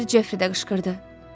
Ser Jefri də qışqırdı.